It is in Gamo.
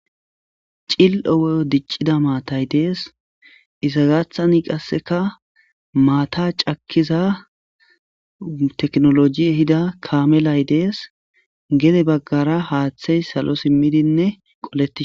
Cil'o dicida maatay dees iza gathan qaeka maata cakiza tekinoloji ehida kamely dees gede bagara haathey salo simidine qoletishe des